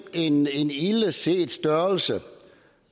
en en ildeset størrelse